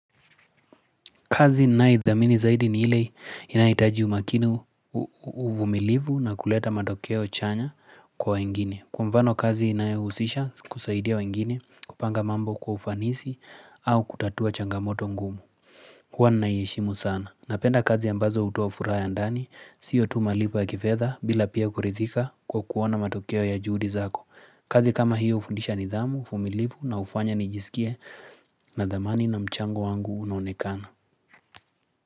Kazi ninaidhamini zaidi ni ile inahitaji umakini uvumilivu na kuleta matokeo chanya kwa wengine. Kwa mfano kazi inayohusisha kusaidia wengine kupanga mambo kwa ufanisi au kutatua changamoto ngumu. Huwa naiheshimu sana. Napenda kazi ambazo hutoa furaha ya ndani, sio tu malipo ya kifedha bila pia kuridhika kwa kuona matokeo ya juhudi zako. Kazi kama hiyo hufundisha nidhamu, uvumilivu na hufanya nijisikie nadhamani na mchango wangu unaonekana.